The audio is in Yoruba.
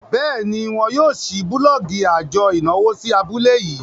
béèni wón yóò ṣii bulọọgi ajo ìnáwó sí abúlé yii.